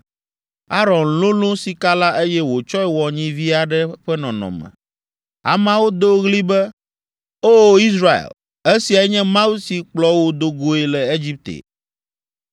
Aron lolõ sika la, eye wòtsɔe wɔ nyivi aɖe ƒe nɔnɔme. Ameawo do ɣli be, “O, Israel, esiae nye mawu si kplɔ wò do goe le Egipte!”